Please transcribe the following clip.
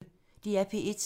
DR P1